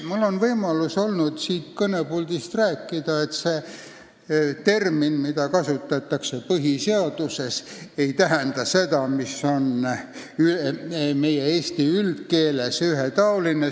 Mul on olnud võimalus siit kõnepuldist rääkida, et see termin, mida kasutatakse põhiseaduses, ei tähenda seda, mida "ühetaoline" tähendab eesti üldkeeles.